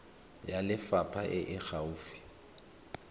ya lefapha e e gaufi